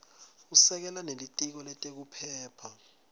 usekela nebelitiko letekuphepha